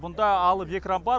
бұнда алып экран бар